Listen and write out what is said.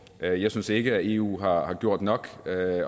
jeg jeg synes ikke eu har gjort nok